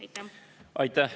Aitäh!